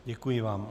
Děkuji vám.